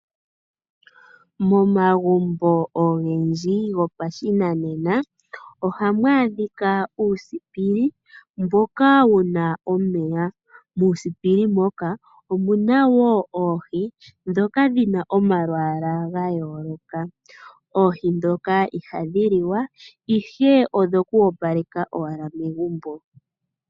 Momagumbo ogendji gopashinanena ohamu adhika uusipili mboka wuna omeya muusipili moka omuna woo oohi ndhoka dhina omalwaala ga yooloka. Oohi ndhoka ihadhililwa ihe odhokwoopaleka owala omagumbo.